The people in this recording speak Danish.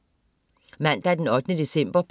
Mandag den 8. december